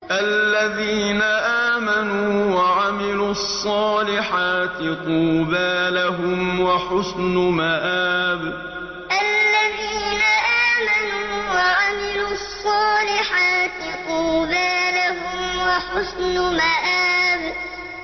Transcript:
الَّذِينَ آمَنُوا وَعَمِلُوا الصَّالِحَاتِ طُوبَىٰ لَهُمْ وَحُسْنُ مَآبٍ الَّذِينَ آمَنُوا وَعَمِلُوا الصَّالِحَاتِ طُوبَىٰ لَهُمْ وَحُسْنُ مَآبٍ